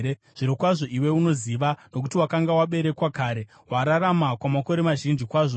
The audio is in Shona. Zvirokwazvo iwe unoziva, nokuti wakanga waberekwa kare! Wararama kwamakore mazhinji kwazvo.